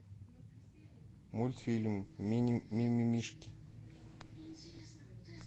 мультфильм мимимишки